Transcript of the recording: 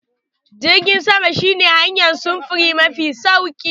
Jirgin sama shi ne hanyar sufuri mafi sauri.